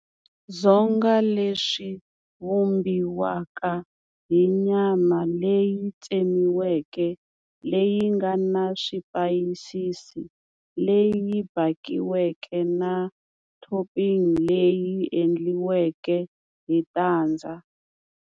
Dzonga leswi vumbiwaka hi nyama leyi tsemiweke leyi nga na swipayisisi leyi bakiweke na topping leyi endliweke hi tandza.